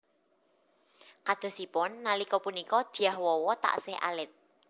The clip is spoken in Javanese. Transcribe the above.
Kadosipun nalika punika Dyah Wawa taksih alit